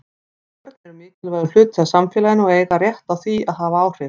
Börn eru mikilvægur hluti af samfélaginu og eiga rétt á því að hafa áhrif.